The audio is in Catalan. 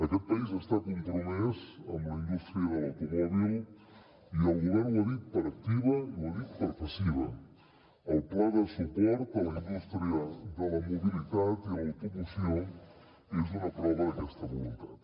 aquest país està compromès amb la indústria de l’automòbil i el govern ho ha dit per activa i ho ha dit per passiva el pla de suport a la indústria de la mobilitat i l’automoció és una prova d’aquesta voluntat